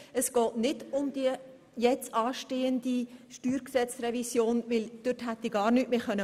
Es geht nicht um die jetzt anstehende Steuergesetzrevision, denn diesbezüglich hätte ich gar nichts mehr fordern können.